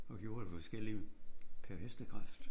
Og gjorde det forskellige per hestekraft